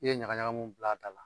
I ye ɲagaɲaga mun bila a da la